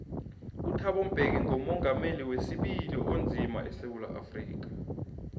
uthabo mbeki ngumongameli wesibili onzima esewula afrika